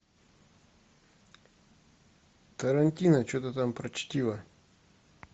тарантино что то там про чтиво